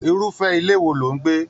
Irufẹ ilé wò ló n gbé?